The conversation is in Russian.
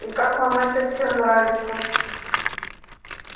и как вам это всё нравится